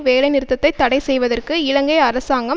வேலை நிறுத்தத்தை தடை செய்வதற்கு இலங்கை அரசாங்கம்